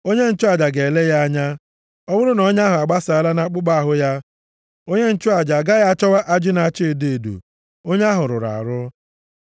Onye nchụaja ga-ele ya anya. Ọ bụrụ na ọnya ahụ agbasaala nʼakpụkpọ ahụ ya, onye nchụaja a gaghị achọwa ajị na-acha edo edo. Onye ahụ rụrụ arụ.